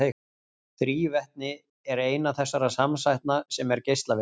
Þrívetni er eina þessara samsætna sem er geislavirk.